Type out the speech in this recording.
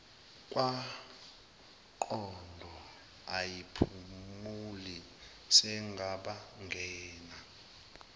kwangqondo ayiphumuli seyabangena